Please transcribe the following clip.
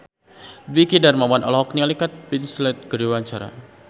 Dwiki Darmawan olohok ningali Kate Winslet keur diwawancara